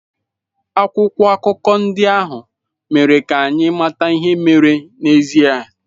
Akwụkwọ akụkọ ndị ahụ mere ka anyị mata ihe mere n'ezie.